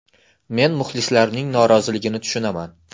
Men muxlislarning noroziligini tushunaman.